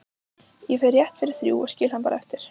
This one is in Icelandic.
Ég fer rétt fyrir þrjú og skil hann bara eftir